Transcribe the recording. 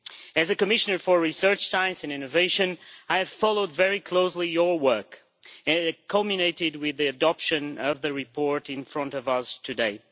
As Commissioner for research, science and innovation, I have followed very closely the work of this House and it culminated with the adoption of the report in front of us today.